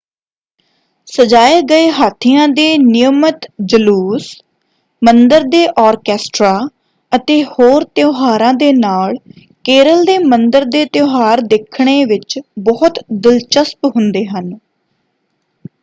ਸਜਾਏ ਗਏ ਹਾਥੀਆਂ ਦੇ ਨਿਯਮਤ ਜਲੂਸ ਮੰਦਰ ਦੇ ਆਰਕੈਸਟਰਾ ਅਤੇ ਹੋਰ ਤਿਉਹਾਰਾਂ ਦੇ ਨਾਲ ਕੇਰਲ ਦੇ ਮੰਦਰ ਦੇ ਤਿਉਹਾਰ ਦੇਖਣੇ ਵਿੱਚ ਬਹੁਤ ਦਿਲਚਸਪ ਹੁੰਦੇ ਹਨ।